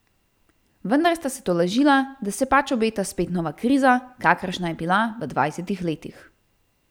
Vendar sta se tolažila, da se pač obeta spet nova kriza, kakršna je bila v dvajsetih letih.